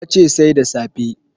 Ya ce Sai da safe